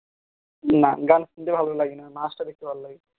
না গান শুনতে ভালো লাগেনা নাচ টা দেখতে ভালো লাগে